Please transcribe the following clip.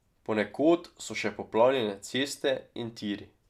Ponekod so še poplavljene ceste in tiri.